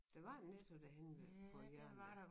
Der var en Netto derhenne ved på hjørnet dér